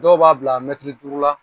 Dɔw b'a bila mɛtiri duuru la